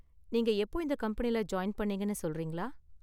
நீங்க எப்போ இந்த கம்பெனியில ஜாயின் பண்ணீங்கனு சொல்றீங்களா?